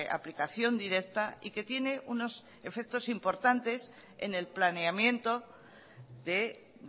aplicación directa y que tiene unos efectos importantes en el planeamiento de